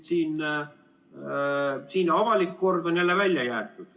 Siin avalik kord on jälle välja jäetud.